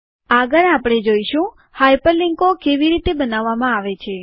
આગળ આપણે જોઈશું હાઇપરલિન્કો કેવી રીતે બનાવવામાં આવે છે